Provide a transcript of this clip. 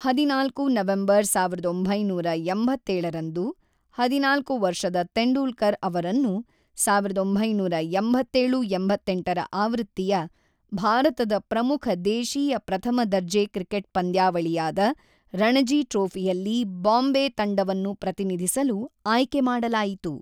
ಹದಿನಾಲ್ಕು ನವೆಂಬರ್ ಸಾವಿರದ ಒಂಬೈನೂರ ಎಂಬತ್ತೇಳ ರಂದು, ಹದಿನಾಲ್ಕು ವರ್ಷದ ತೆಂಡೂಲ್ಕರ್ ಅವರನ್ನು ಸಾವಿರದ ಒಂಬೈನೂರ ಎಂಬತ್ತೇಳು-ಎಂಬತ್ತೆಂಟರ ಆವೃತ್ತಿಯ ಭಾರತದ ಪ್ರಮುಖ ದೇಶೀಯ ಪ್ರಥಮ ದರ್ಜೆ ಕ್ರಿಕೆಟ್ ಪಂದ್ಯಾವಳಿಯಾದ ರಣಜಿ ಟ್ರೋಫಿಯಲ್ಲಿ ಬಾಂಬೆ ತಂಡವನ್ನು ಪ್ರತಿನಿಧಿಸಲು ಆಯ್ಕೆ ಮಾಡಲಾಯಿತು.